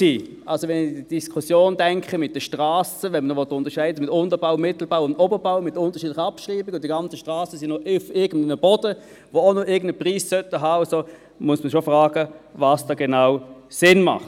Wenn ich also an die Diskussion mit den Strassen denke, wenn man unterscheiden will bei Unterbau, Mittelbau und Oberbau mit unterschiedlicher Abschreibung, und die ganzen Strassen sind noch auf irgendeinem Boden, der auch noch irgendeinen Preis haben sollte, muss man schon fragen, was da genau Sinn macht.